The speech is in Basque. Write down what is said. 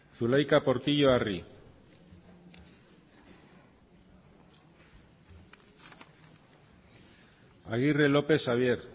zulaika portillo arri agirre lópez xabier